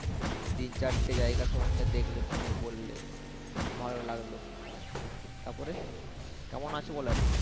তিন চারটে জায়গা সমন্ধে দেখলে তুমিও বললে ভালো লাগলো তারপরে কেমন আছো বলো এখন।